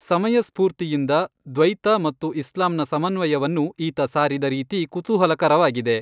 ಸಮಯಸ್ಛೂರ್ತಿಯಿಂದ ದ್ವೈತ ಮತ್ತು ಇಸ್ಲಾಂನ ಸಮನ್ವಯವನ್ನು ಈತ ಸಾರಿದ ರೀತಿ ಕುತೂಹಲಕರವಾಗಿದೆ.